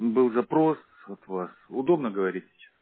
был запрос от вас удобно говорить